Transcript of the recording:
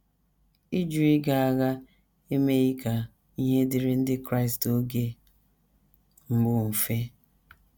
Ịjụ ịga agha emeghị ka ihe dịrị Ndị Kraịst oge mbụ mfe.